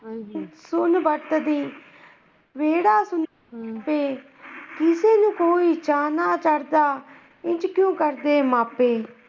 ਸੁਣ ਵਕਤ ਦੀ, ਕਿਸੇ ਨੂੰ ਕੋਈ ਚਾਅ ਨਾ ਚਾਰਦਾ, ਐਂਜ ਕਿਉਂ ਕਰਦੇ ਮਾਪੇ?